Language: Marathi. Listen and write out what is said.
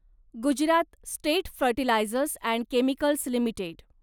Gujarat state fertilisers and chemicals limited